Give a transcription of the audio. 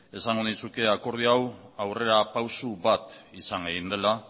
esango nizuke akordio hau aurrerapauso bat izan egin dela